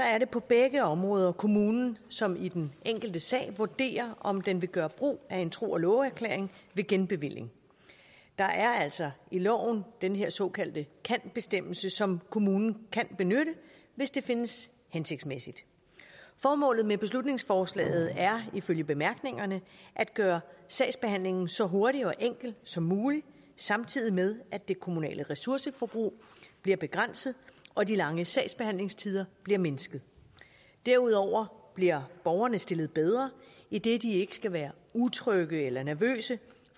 er det på begge områder kommunen som i den enkelte sag vurderer om den vil gøre brug af en tro og love erklæring ved genbevilling der er altså i loven den her såkaldte kan bestemmelse som kommunen kan benytte hvis det findes hensigtsmæssigt formålet med beslutningsforslaget er ifølge bemærkningerne at gøre sagsbehandlingen så hurtig og enkel som muligt samtidig med at det kommunale ressourceforbrug bliver begrænset og de lange sagsbehandlingstider bliver mindsket derudover bliver borgerne stillet bedre idet de ikke skal være utrygge eller nervøse